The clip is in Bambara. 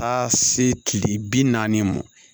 A se tile bi naani ma